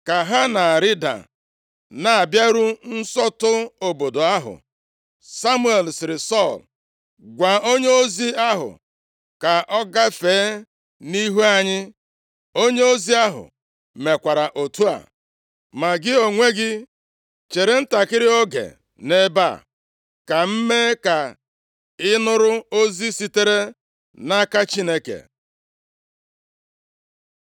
Ka ha na-arịda na-abịaru nsọtụ obodo ahụ, Samuel sịrị Sọl, “Gwa onyeozi ahụ ka ọ gafee nʼihu anyị.” Onyeozi ahụ mekwara otu a, ma, “Gị onwe gị chere ntakịrị oge nʼebe a ka m mee ka ị nụrụ ozi sitere nʼaka Chineke.”